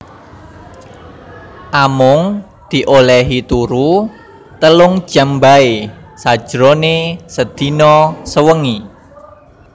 Amung di olèhi turu telung jam baé sajroné sedina sewengi